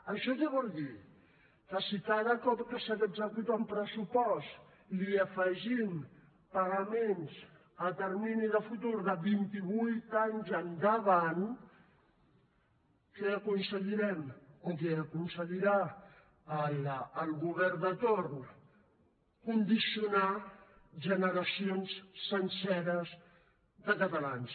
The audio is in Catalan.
això què vol dir que si cada cop que s’executa un pressupost li afegim pagaments a termini de futur de vint i vuit anys endavant què aconseguirem o què aconseguirà el govern de torn condicionar generacions senceres de catalans